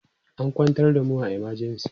an kwantar da mu a emergency